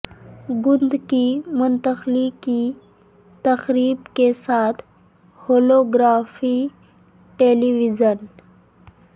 گند کی منتقلی کی تقریب کے ساتھ ہولوگرافی ٹیلی ویژن